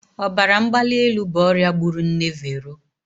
Ọbara mgbali elu bụ ọrịa gburu nne Vero.